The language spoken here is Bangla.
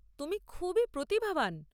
তুমি খুবই প্রতিভাবান।